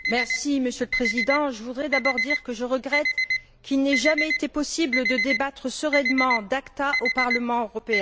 Monsieur le Président, je voudrais d'abord dire que je regrette qu'il n'ait jamais été possible de débattre sereinement de l'ACTA au Parlement européen.